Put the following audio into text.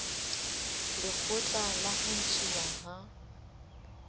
lekgotla la ho ntshuwa ha